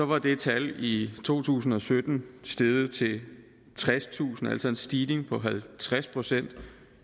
var det tal i to tusind og sytten steget til tredstusind altså en stigning på halvtreds procent